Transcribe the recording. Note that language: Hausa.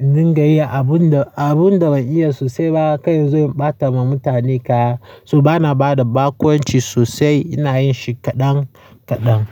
in gayi abun da, abun da ban iya sosai ba kai zan bata ma mutane kaya So bana bada bakonci sosai, ina yin shi kaɗan kaɗan.